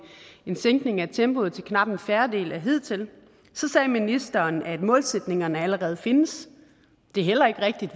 sænkning af tempoet til knap en fjerdedel af hidtil så sagde ministeren at målsætningerne allerede findes det er heller ikke rigtigt